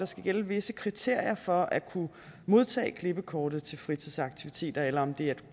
skal gælde visse kriterier for at kunne modtage klippekortet til fritidsaktiviteter eller om det er